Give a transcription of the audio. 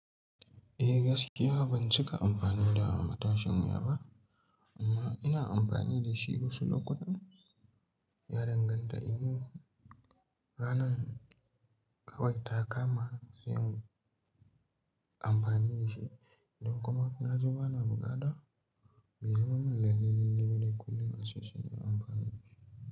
Eh gaskiya ban cika amfani da matashin ya ba amma ina amfani da shi wasu lokutan. Ya danganta in ranan ƙawai ta kama sai in amfani da shi don kuma na ji bana bukata. Bai zamar min lallai-lallai kullum ace sai na amfana da shi.